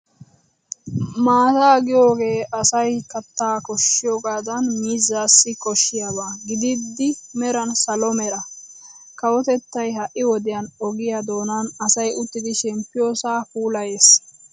Maataa giyoogee asaayyo kattaa koshshiyoogaadan miizzaassi koshshiyaaba gididi meran salo Mera. Kawotettay ha'i wodiyan ogiya doonaani asay uttidi shemppiyoosaa puulayees.